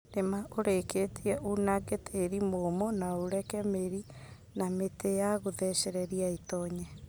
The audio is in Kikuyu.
Rīma ūrikītie unange tīri mūmū na ureke mīri na mītī ya gūthecereria ītonye.